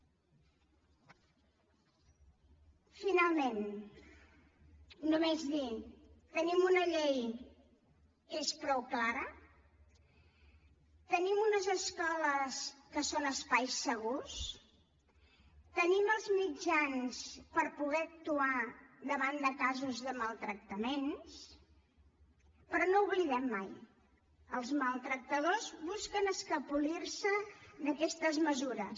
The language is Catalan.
finalment només dir tenim una llei que és prou clara tenim unes escoles que són espais segurs tenim els mitjans per poder actuar davant de casos de maltractaments però no ho oblidem mai els maltractadors busquen escapolir se d’aquests mesures